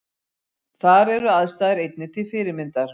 Þar eru aðstæður einnig til fyrirmyndar